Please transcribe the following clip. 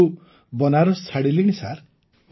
୨୦୦୬ରୁ ବନାରସ ଛାଡ଼ିଲିଣି ସାର୍